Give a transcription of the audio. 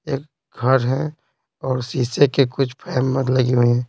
एक घर है और शीशे के कुछ लगे हुए हैं।